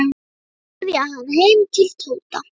Svo keyrði ég hann heim til Tóta.